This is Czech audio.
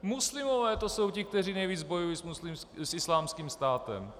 Muslimové, to jsou ti, kteří nejvíc bojují s Islámským státem.